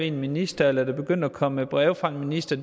en minister at der begynder at komme breve fra en minister